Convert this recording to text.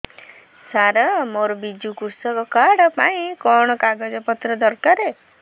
ସାର ମୋର ବିଜୁ କୃଷକ କାର୍ଡ ପାଇଁ କଣ କାଗଜ ପତ୍ର ଦରକାର